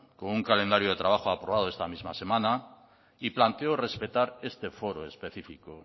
con un calendario de trabajo aprobado esta misma semana y planteo respetar este foro específico